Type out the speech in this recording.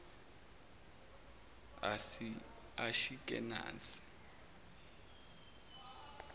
ashikenazi